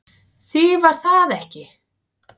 Því var það ekki